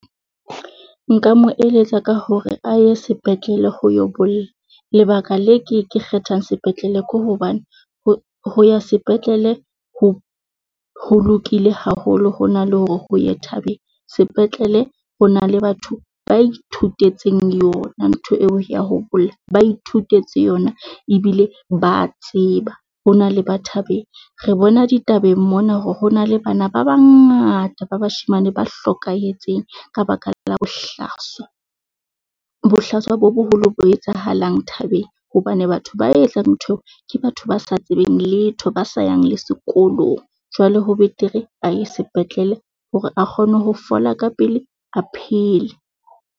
Nka mo eletsa ka hore a ye sepetlele ho yo bolla, lebaka le ke ke kgethang sepetlele ke hobane ho ya sepetlele ho ho lokile haholo, ho na le hore o ye thabeng. Sepetlele ho na le batho ba ithutetseng yona ntho eo ya ho bolla, ba ithutetse yona ebile ba tseba hore na le ba thabeng. Re bona ditabeng mona hore ho na le bana ba ba ngata ba bashemane ba hlokahetseng ka baka la bohlaswa, bohlaswa bo boholo bo etsahalang thabeng hobane batho ba etsang ntho eo ke batho ba sa tsebeng letho, ba sa yang le sekolong. Jwale ho betere a ye sepetlele hore a kgone ho fola ka pele, a phele.